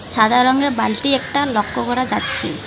সাদা রঙের বালটি একটা লক্ষ করা যাচ্ছে।